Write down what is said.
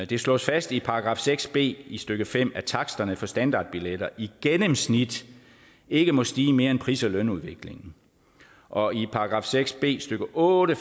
det slås fast i § seks b stykke fem at taksterne for standardbilletter i gennemsnit ikke må stige mere end pris og lønudviklingen og i § seks b stykke otte